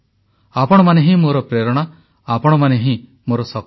ଆପଣମାନେ ହିଁ ମୋର ପ୍ରେରଣା ଆପଣମାନେ ହିଁ ମୋର ଶକ୍ତି